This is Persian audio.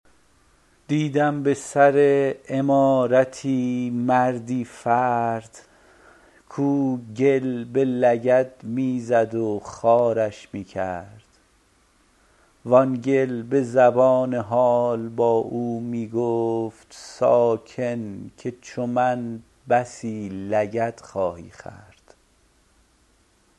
دیدم به سر عمارتی مردی فرد کاو گل به لگد می زد و خوارش می کرد وان گل به زبان حال با او می گفت ساکن که چو من بسی لگد خواهی خورد